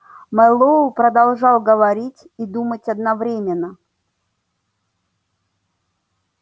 мэллоу продолжал говорить и думать одновременно